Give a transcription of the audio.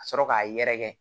Ka sɔrɔ k'a yɛrɛkɛ